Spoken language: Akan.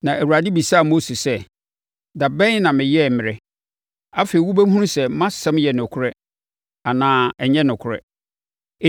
Na Awurade bisaa Mose sɛ, “Da bɛn na meyɛɛ mmerɛ? Afei wobɛhunu sɛ mʼasɛm yɛ nokorɛ anaa ɛnyɛ nokorɛ.”